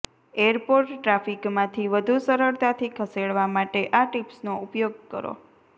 airport ટ્રાફિકમાંથી વધુ સરળતાથી ખસેડવા માટે આ ટીપ્સનો ઉપયોગ કરો